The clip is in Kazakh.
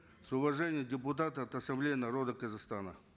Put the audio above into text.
с уважением депутаты от ассамблеи народа казахстана